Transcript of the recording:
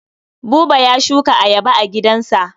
Buba ya shuka ayaba a gidansa.